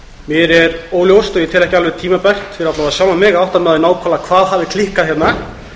fyrir að minnsta kosti sjálfan mig að átta mig á því nákvæmlega hvað hafi klikkað hérna